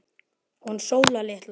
Hún Sóla litla?